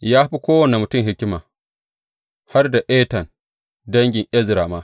Ya fi kowane mutum hikima, har da Etan dangin Ezra ma.